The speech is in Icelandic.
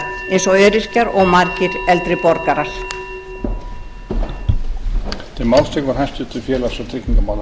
þið öll sem sitjið hér eruð á framfærslu hins opinbera eins og öryrkjar og margir eldri borgarar